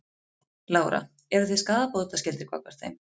Lára: Eru þið skaðabótaskyldir gagnvart þeim?